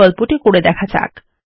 এই বিকল্পটি চেষ্টা করা যাক